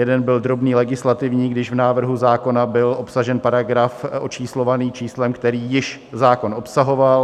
Jeden byl drobný legislativní, když v návrhu zákona byl obsažen paragraf očíslovaný číslem, který již zákon obsahoval.